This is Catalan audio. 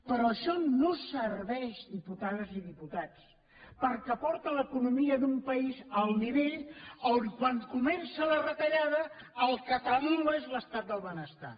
però això no serveix diputades i diputats perquè porta l’economia d’un país al nivell on quan comença la retallada el que tremola és l’estat del benestar